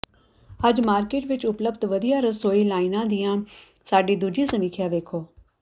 ਅੱਜ ਮਾਰਕੀਟ ਵਿੱਚ ਉਪਲੱਬਧ ਵਧੀਆ ਰਸੋਈ ਲਾਈਨਾਂ ਦੀਆਂ ਸਾਡੀ ਦੂਜੀ ਸਮੀਖਿਆ ਦੇਖੋ